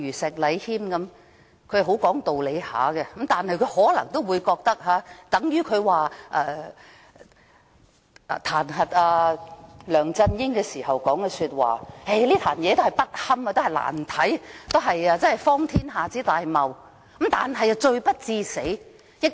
石禮謙議員很講道理，但他就彈劾梁振英的議案發言時說，這件事是"不堪、難看、荒天下之大謬，但罪不至死"。